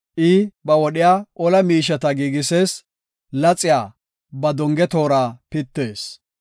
I ba wodhiya ola miisheta giigisees; laxiya ba donge toora pitees.